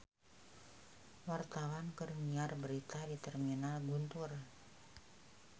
Wartawan keur nyiar berita di Terminal Guntur